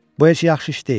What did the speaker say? Bu heç yaxşı iş deyil.